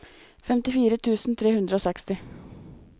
femtifire tusen tre hundre og seksti